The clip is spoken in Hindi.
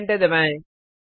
अब एंटर दबाएं